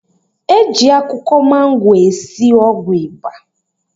E ji akwụkwọ mango esi ọgwụ ịba